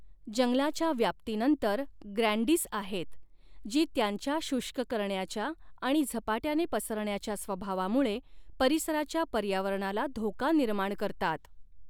जंगलाच्या व्याप्तीनंतर ग्रँडिस आहेत, जी त्यांच्या शुष्क करण्याच्या आणि झपाट्याने पसरण्याच्या स्वभावामुळे परिसराच्या पर्यावरणाला धोका निर्माण करतात.